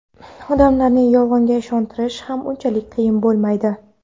odamlarni Yolg‘onga ishontirish ham unchalik qiyin bo‘lmaydi.